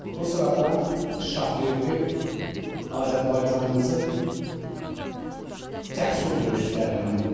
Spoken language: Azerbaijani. Bu sıradan Şahverdi Azərbaycanımızın cəsur döyüşçülərindən olub.